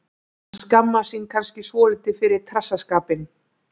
Hann skammast sín kannski svolítið fyrir trassaskapinn.